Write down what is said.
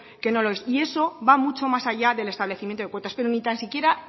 que no lo es y eso va mucho más allá del establecimiento de cuotas pero ni tan siquiera